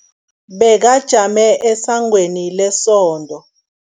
Bekajame esangweni lesonto.